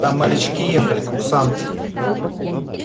там морячки ехали курсанты